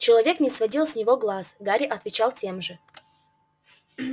человечек не сводил с него глаз гарри отвечал тем же